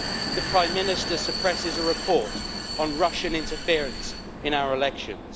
The Prime Minister suppresses a report on Russian interference in our elections.